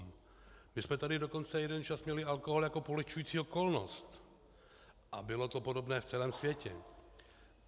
My jsme tu dokonce jeden čas měli alkohol jako polehčující okolnost a bylo to podobné v celém světě.